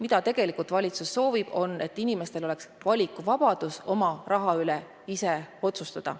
Aga valitsus tegelikult soovib, et inimestel oleks valikuvabadus oma raha üle ise otsustada.